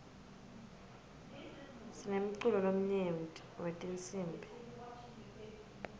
sinemculo lomnyenti wetinsibi